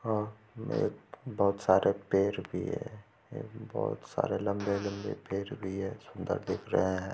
बहोत सारे पेड़ भी है बहोत सारे लम्बे-लम्बे पेड़ भी है सुंदर दिख रहे है।